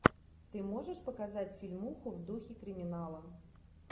ты можешь показать фильмуху в духе криминала